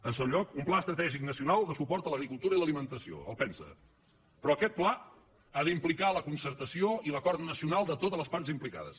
en segon lloc un pla estratègic nacional de suport a l’agricultura i l’alimentació el pensaa però aquest pla ha d’implicar la concertació i l’acord nacional de totes les parts implicades